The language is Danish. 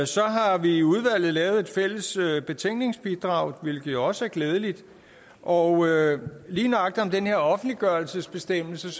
så har vi i udvalget lavet et fælles betænkningsbidrag hvilket jo også er glædeligt og lige nøjagtig i her offentliggørelsesbestemmelse